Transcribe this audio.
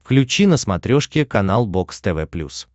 включи на смотрешке канал бокс тв плюс